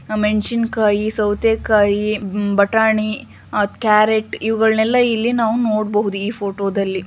ಮೆಣಸಿನ ಕಾಯಿ ಸೌತೆ ಕಾಯಿ ಬಟಾಣಿ ಕ್ಯಾರಟ್ ಇವುಗಳ್ನಲ್ಲ ಇಲ್ಲಿ ನಾವು ನೋಡಬೋಹುದು ಈ ಫೋಟೋದಲ್ಲಿ